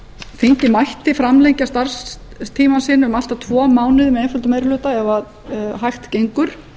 þingið mætti framlengja starfstíma sinn um allt að tvo mánuði með einföldum meiri hluta ef hægt gengur